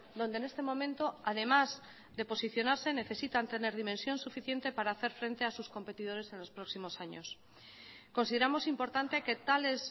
donde en este momento además de posicionarse necesitan tener dimensión suficiente para hacer frente a sus competidores en los próximos años consideramos importante que tales